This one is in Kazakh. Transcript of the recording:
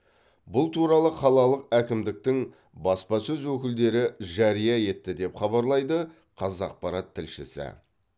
бұл туралы қалалық әкімдіктің баспасөз өкілдері жария етті деп хабарлайды қазақпарат тілшісі